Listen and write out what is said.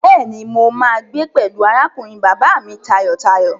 Bẹ́ẹ̀ni, mo máa gbé pẹ̀lú arákùnrin bàbá mi tayọ̀tayọ̀.